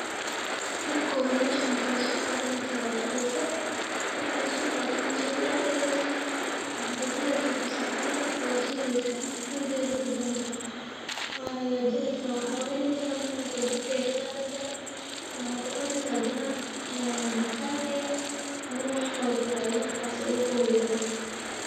Marka kuwad mashromka aya soqadaneysa, wa daqeysa, marka sogadid mesha kudaxrideysa wakudax rideysaa kabsar calen washideysa, chumvi yar aya kudareysa, waxagajineysaa, waxaweyneysa markas dabka yar sareysaa, maxa kucuneysaa xadana, ee mkate ama wax walbo oo markaa aadi kuxoryalo.